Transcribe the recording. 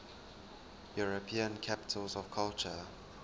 european capitals of culture